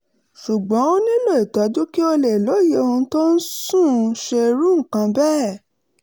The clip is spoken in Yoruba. ṣùgbọ́n ó nílò ìtọ́jú kí ó lè lóye ohun tó ń sún un ṣe irú nǹkan bẹ́ẹ̀